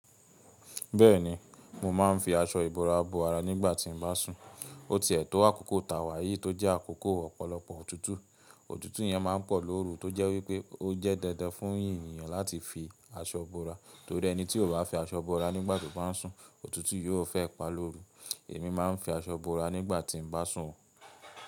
Bẹ́ẹ̀ni, mo máa ń fi aṣọ ìbora bo ara nígbà tí mo bá sùn. O tiẹ̀ tó àkókò tàwà yìí tó jẹ́ àkókò ọ̀pọ̀lọpọ̀ ọ̀tútù. Ọ̀tútù yẹn máa ń pọ̀ lóru tó jẹ́ wípé o jẹ́ dandan fún ènìyàn láti fi aṣọ bora, torí ẹni tí kò bá fi aṣọ bora nígbà tó bá sùn ọ̀tútù yóò fẹ́ pa lóru. Èmi máa ń fi aṣọ bora nígbà tí mo bá sùn.